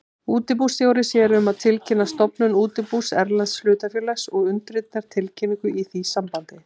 Útibússtjóri sér um að tilkynna stofnun útibús erlends hlutafélags og undirritar tilkynningu í því sambandi.